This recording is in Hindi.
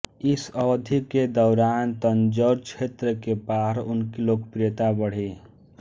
इस अवधि के दौरान तंजौर क्षेत्र के बाहर उनकी लोकप्रियता बढ़ी